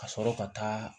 Ka sɔrɔ ka taa